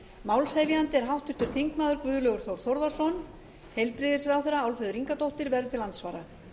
málshefjandi er háttvirtur þingmaður guðlaugur þór þórðarson heilbrigðisráðherra álfheiður ingadóttir verður til andsvara